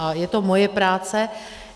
A je to moje práce.